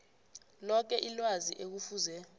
loke ilwazi ekufuze